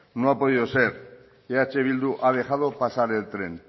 no ha podido ser eh bildu ha dejado pasar el tren